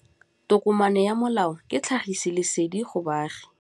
Tokomane ya molao ke tlhagisi lesedi go baagi.